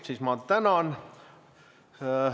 Siis ma tänan.